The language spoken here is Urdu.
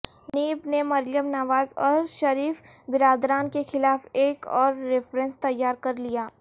نیب نے مریم نواز اور شریف برادران کے خلاف ایک اور ریفرنس تیار کرلیا